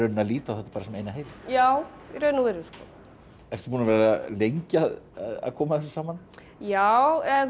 líta á þetta sem eina heild já í raun og veru ertu búin að vera lengi að koma þessu saman já